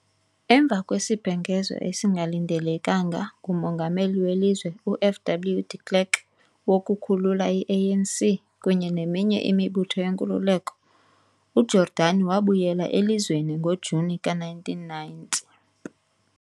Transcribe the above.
Emva kwesibhengezo esingalindelekanga nguMongameli welizwe u-F.W. de Klerk wokukhulula i-ANC kunye neminye imibutho yenkululeko, uJordani wabuyela elizweni ngo-Juni ka-1990.